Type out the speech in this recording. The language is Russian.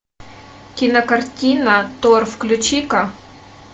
кинокартина тор включи ка